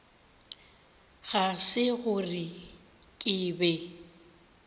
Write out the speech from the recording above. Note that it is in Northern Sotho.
ga se gore ke be